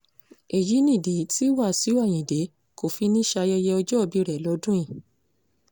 èyí nìdí tí wàsíù ayinde kò fi ní í ṣayẹyẹ ọjọ́òbí rẹ̀ lọ́dún yìí